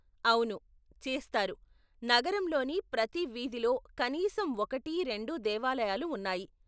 అవును, చేస్తారు, నగరంలోని ప్రతి వీధిలో కనీసం ఒకటి, రెండు దేవాలయాలు ఉన్నాయి.